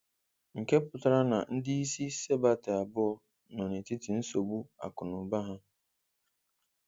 Nke pụtara na ndị isi Sebate abụọ nọ n'etiti nsogbu akụ na ụba ha.